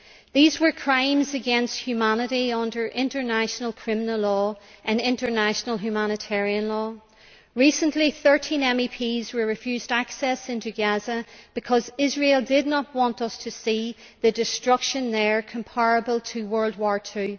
These were crimes against humanity under international criminal law and international humanitarian law. Recently, 13 MEPs were refused access to Gaza because Israel did not want us to see destruction there that is comparable to World War II.